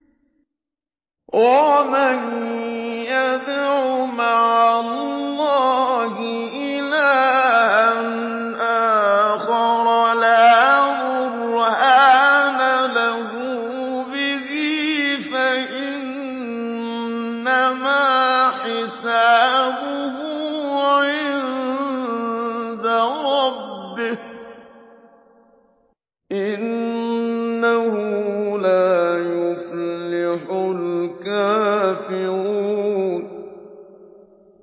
وَمَن يَدْعُ مَعَ اللَّهِ إِلَٰهًا آخَرَ لَا بُرْهَانَ لَهُ بِهِ فَإِنَّمَا حِسَابُهُ عِندَ رَبِّهِ ۚ إِنَّهُ لَا يُفْلِحُ الْكَافِرُونَ